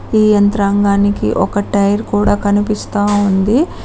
ఈ యంత్రాంగానికి ఒక టైర్ కూడా కనిపిస్తా ఉంది.